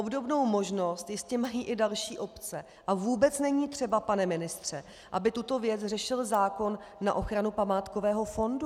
Obdobnou možnost jistě mají i další obce a vůbec není třeba, pane ministře, aby tuto věc řešil zákon na ochranu památkového fondu.